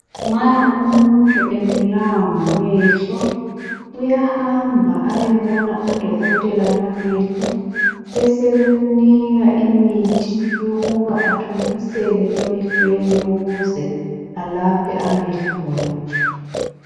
Nxa umuntu ebulawa ngamehlo uyahamba ayebona odokotela bamehlo besebemnika imithi yokuba athontisele emehlweni ukuze alaphe amehlo la.